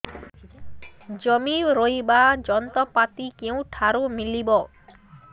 ଜମି ରୋଇବା ଯନ୍ତ୍ରପାତି କେଉଁଠାରୁ ମିଳିବ